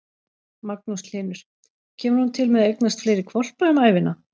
Magnús Hlynur: Kemur hún til með að eignast fleiri hvolpa um ævina?